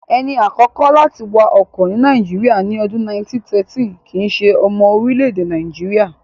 Ẹni àkọ́kọ́ láti wa ọkọ̀ ní Nàìjíríyà, ní ọdún 1913 kìíse ọmọ orílẹ̀-èdè Nàìjíríyà